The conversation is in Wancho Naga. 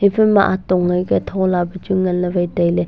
e phai ma atong ang pe thola pe chu wai ngan le wai chu tailey.